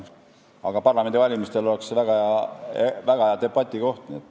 Aga parlamendivalimistel oleks see väga hea debati koht.